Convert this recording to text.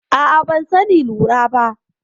A'a, ban sani lura ba.